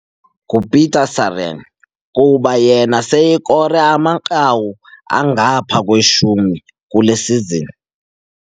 kuba yena seyekore amanqaku angaphaya kweshumi kule sizini.